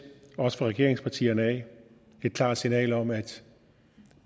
også fra regeringspartierne et klart signal om at